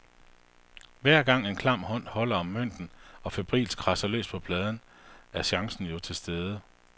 Hver gang en klam hånd holder om mønten og febrilsk kradser løs på pladen, er chancen jo tilstede.